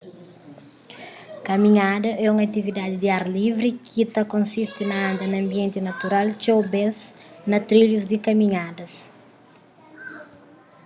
kaminhada é un atividadi di ar livri ki ta konsisti na anda na anbienti natural txeu bês na trilhus di kaminhadas